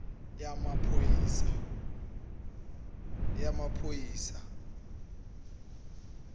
yamaphoyisa